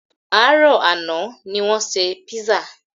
Àárọ̀ àná ní wọ́n ṣe písà